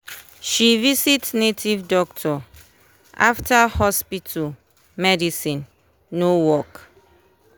she visit native doctor after hospital medicine no work.